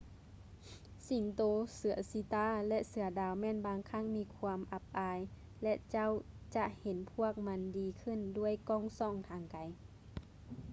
ສິງໂຕ ເສືອຊີຕາ ແລະ ເສືອດາວແມ່ນບາງຄັ້ງມີຄວາມອັບອາຍ ແລະ ເຈົ້າຈະເຫັນພວກມັນດີຂື້ນດ້ວຍກ້ອງສ່ອງທາງໄກ